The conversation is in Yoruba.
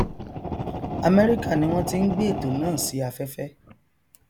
amẹríkà ni wọn ti n gbé ètò náà si afẹfẹ